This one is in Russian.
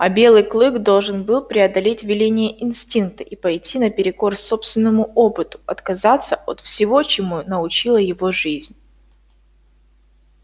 а белый клык должен был преодолеть веления инстинкта и пойти наперекор собственному опыту отказаться от всего чему научила его жизнь